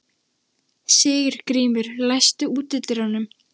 Sigurgrímur, læstu útidyrunum.